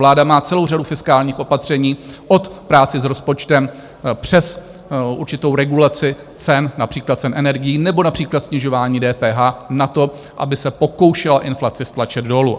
Vláda má celou řadu fiskálních opatření - od práce s rozpočtem přes určitou regulaci cen, například cen energií, nebo například snižování DPH - na to, aby se pokoušela inflaci stlačit dolů.